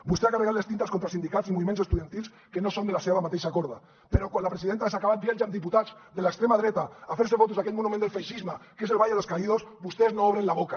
vostè ha carregat les tintes contra els sindicats i moviments estudiantils que no són de la seva mateixa corda però quan la presidenta de s’ha acabat viatja amb diputats de l’extrema dreta a fer se fotos a aquell monument del feixisme que és el valle de los caídos vostès no obren la boca